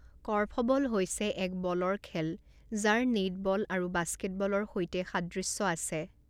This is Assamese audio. কৰ্ফবল হৈছে এক বলৰ খেল যাৰ নেটবল আৰু বাস্কেটবলৰ সৈতে সাদৃশ্য আছে।